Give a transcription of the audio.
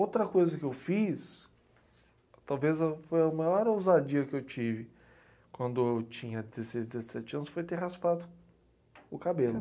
Outra coisa que eu fiz, talvez a, foi a maior ousadia que eu tive quando eu tinha dezesseis dezessete anos, foi ter raspado o cabelo.